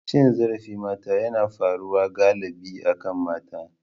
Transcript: Cin zarafin mata yana faruwa galibi akan mata.